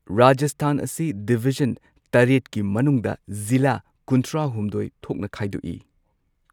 ꯔꯥꯖꯁꯊꯥꯟ ꯑꯁꯤ ꯗꯤꯕꯤꯖꯟ ꯇꯔꯦꯠ ꯀꯤ ꯃꯅꯨꯡꯗ ꯖꯤꯂꯥ ꯀꯨꯟꯊ꯭ꯔꯥ ꯍꯨꯝꯗꯣꯏ ꯊꯣꯛꯅ ꯈꯥꯏꯗꯣꯛꯏ꯫